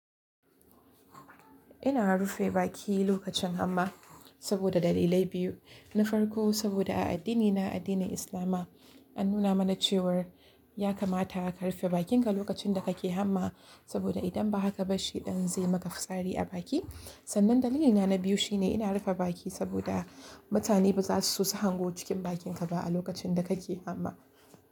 Ina rufe baki lokacin hamma saboda dalilai biyu. Na farko saboda a addinina, addinin Islama an nuna mana cewar ya kamata ka rufe bakinka lokacin da kake hamma saboda idan ba haka ba shi ɗan zai yi maka fitsari a baki. Sannan dalili na biyu shine ina rufe baki saboda mutane ba za su so su hango cikin bakinka ba a lokacin da kake hamma.